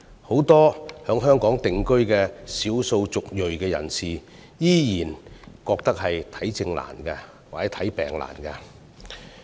很多在香港定居的少數族裔人士依然覺得求診困難。